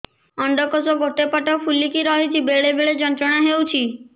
ଅଣ୍ଡକୋଷ ଗୋଟେ ପଟ ଫୁଲିକି ରହଛି ବେଳେ ବେଳେ ଯନ୍ତ୍ରଣା ହେଉଛି